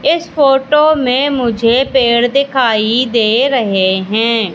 इस फोटो में मुझे पेड़ दिखाई दे रहे हैं।